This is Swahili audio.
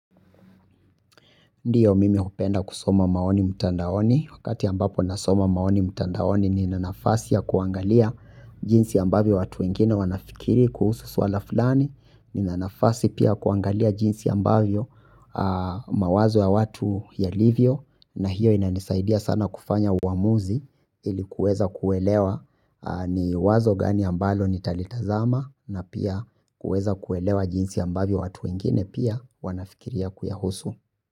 Ndiyo mimi upenda kusoma maoni mutandaoni, wakati ambapo nasoma maoni mutandaoni nina nafasi ya kuangalia jinsi ambavyo watu wengine wanafikiri kuhusu swala fulani, nina nafasi pia ya kuangalia jinsi ambavyo mawazo ya watu yalivyo na hiyo inanisaidia sana kufanya uwamuzi ili kuweza kuelewa ni wazo gani ambalo nitalitazama na pia kuweza kuelewa jinsi ambavyo watu wengine pia wanafikiria kuyahusu.